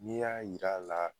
N'i y'a yir'a la